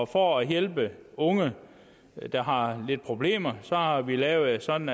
for at hjælpe unge der har lidt problemer har vi lavet det sådan